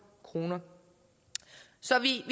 kroner så vi